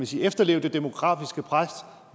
sige at efterleve det demografiske pres